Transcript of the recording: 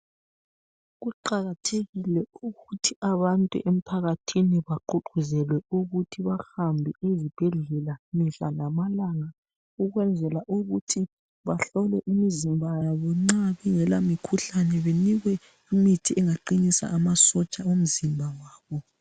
Kuqakathekile ukuthi abantu emphakathini bagqugquzelwe ukuthi bahambe ezibhedlela mihlalamalanga ukwenzela ukuthi bahlole imizimba yabo nxa kungela mikhuhlane benikwe imithi engaqinisa amasotsha womzimba wabo.